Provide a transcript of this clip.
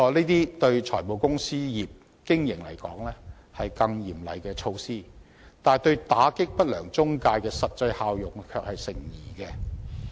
對於財務公司業的經營而言，這些誠然會是更加嚴厲的措施，但對於打擊不良中介公司的實際效用卻成疑。